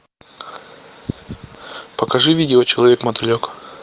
покажи видео человек мотылек